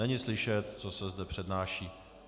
Není slyšet, co se zde přednáší.